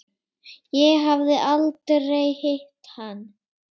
Ég hafði aldrei hitt hann.